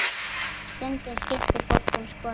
Stundum skipti fólk um skoðun.